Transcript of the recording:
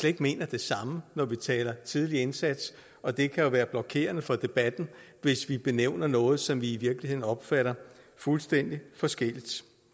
ikke mener det samme når vi taler tidlig indsats og det kan jo være blokerende for debatten hvis vi benævner noget som vi i virkeligheden opfatter fuldstændig forskelligt